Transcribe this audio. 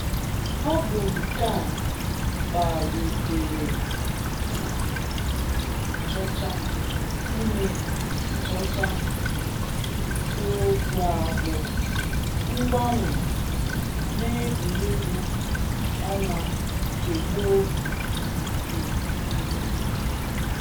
Ọ bụ nke a kpalitere mmụọ nwanchọcha ime nchọcha n’isiokwu a bụ ‘mgbanwe n’egwuregwu ọnwa nke gboo na nke ugbu a’.